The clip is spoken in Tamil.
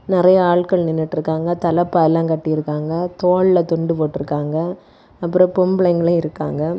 நறைய ஆள்கள் நின்னுட்ருக்காங்க தலப்பா எல்லா கட்டிருக்காங்க தோள்ல துண்டு போட்ருக்காங்க அப்புறம் பொம்பளைங்ளு இருக்காங்க.